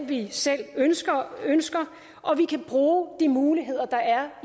vi selv ønsker ønsker og vi kan bruge de muligheder der er